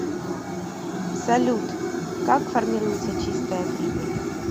салют как формируется чистая прибыль